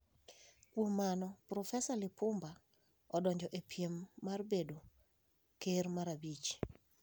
Kuom mano, Profesa Lipumba odonjo e piem mar bedo ker mar abich.